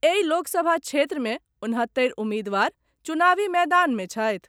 एहि लोकसभा क्षेत्र मे उनहत्तरि उम्मीदवार चुनावी मैदान मे छथि।